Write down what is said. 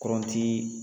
Kɔrɔnti